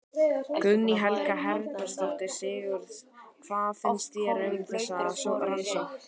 Guðný Helga Herbertsdóttir: Sigurður, hvað finnst þér um þessa rannsókn?